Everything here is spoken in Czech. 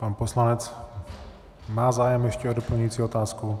Pan poslanec má zájem ještě o doplňující otázku.